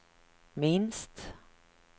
minst